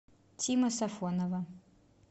тима сафонова